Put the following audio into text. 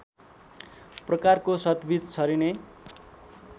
प्रकारको सतबिज छरिने